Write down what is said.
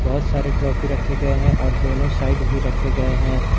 बहोत सारे ट्रॉफी रखे गए हैं और दोनों साइड भी रखे गए हैं।